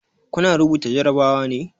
Kuna rubuta jarabawa ne?